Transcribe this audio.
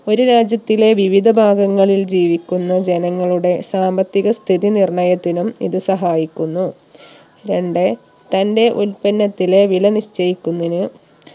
ഒരു രാജ്യത്തിലെ വിവിധ ഭാഗങ്ങളിൽ ജീവിക്കുന്ന ജനങ്ങളുടെ സാമ്പത്തിക സ്ഥിതി നിർണയത്തിനും ഇത് സഹായിക്കുന്നു രണ്ട് തന്റെ ഉൽപ്പന്നത്തിലെ വില നിശ്ചയിക്കുന്നിന്